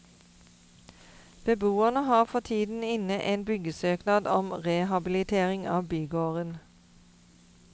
Beboerne har for tiden inne en byggesøknad om rehabilitering av bygården.